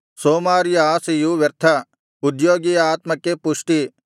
ಸೋಮಾರಿಯ ಆಶೆಯು ವ್ಯರ್ಥ ಉದ್ಯೋಗಿಯ ಆತ್ಮಕ್ಕೆ ಪುಷ್ಟಿ